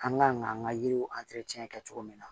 An kan k'an ka yiriw kɛ cogo min na